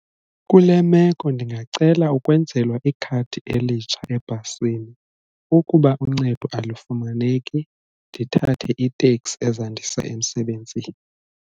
Kule meko ndingacela ukwenzelwa ikhadi elitsha ebhasini ukuba uncedo alufumaneki ndithathe itekisi ezandisa emsebenzini.